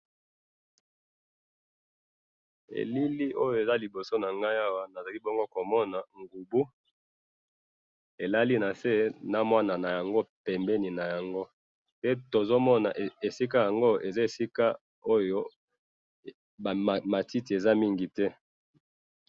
Elili oyo eza liboso nangayi awa, nazali bongo komona ngubu, elali nase namwana nayango pembeni naango, pe tozomona esika yango eza esika oyo bamatiti eza mingi.